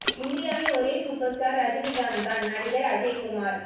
இந்தியாவின் ஓரே super star Rajinikanth தான் நடிகர் அக்ஷய் குமார்